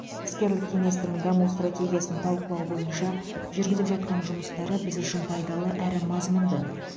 іскерлік кеңестің даму стратегиясын талқылау бойынша жүргізіп жатқан жұмыстары біз үшін пайдалы әрі мазмұнды